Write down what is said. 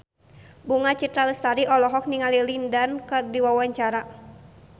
Bunga Citra Lestari olohok ningali Lin Dan keur diwawancara